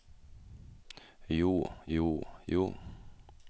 jo jo jo